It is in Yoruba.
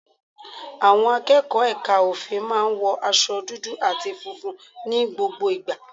Àwọn akẹ́kọ̀ọ́ Ẹka ofin maá n wọ aṣọ dudu ati funfun ní gbogbo ìgbà.